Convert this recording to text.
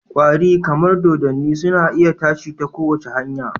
kwari, kamar dodanniya, suna iya tashi ta kowace hanya